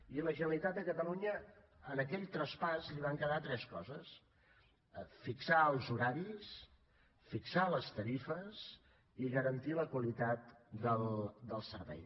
i a la generalitat de catalunya en aquell traspàs li van quedar tres coses fixar els horaris fixar les tarifes i garantir la qualitat del servei